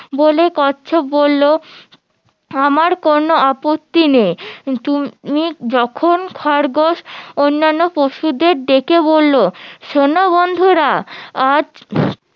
বলে কচ্ছপ বললো আমার কোনো আপত্তি নেই যখন খরগোশ অন্যান্য পশুদের ডেকে বললো শোনো বন্ধুরা আজ